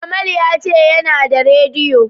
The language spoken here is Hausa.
Kamal ya ce yana da radiyo.